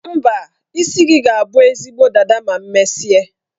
Mba, isi gị ga-abụ ezigbo dada ma m mesie.